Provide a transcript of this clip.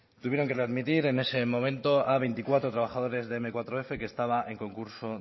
tuvieron que readmitir en ese momento a veinticuatro trabajadores de eme cuatro efe que estaba en concurso